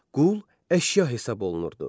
Qul əşya hesab olunurdu.